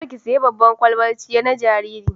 Kar ki sayi babbar ƙwalbar ciyar na jariri